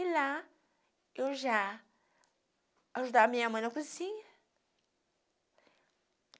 E lá eu já ajudava a minha mãe na cozinha.